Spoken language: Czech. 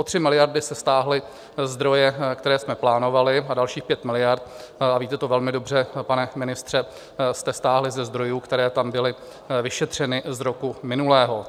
O 3 miliardy se stáhly zdroje, které jsme plánovali, a dalších 5 miliard, a víte to velmi dobře, pane ministře, jste stáhli ze zdrojů, které tam byly vyšetřeny z roku minulého.